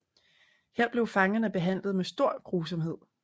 Her blev fangerne behandlet med stor grusomhed